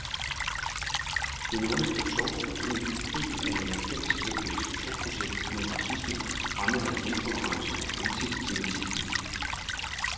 Det nordiske tog er en del af et fælleseuropæisk togprojekt mod racisme, fremmedhad, intolerance og antisemitisme.